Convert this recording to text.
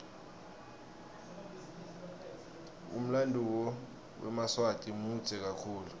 umlanduo wemaswati mudze kakhulu